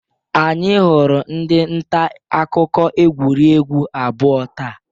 Anyị hụrụ ndị nta akụkọ egwuregwu abụọ taa.